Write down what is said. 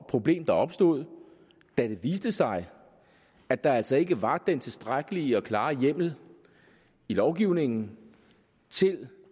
problem der opstod da det viste sig at der altså ikke var den tilstrækkelige og klare hjemmel i lovgivningen til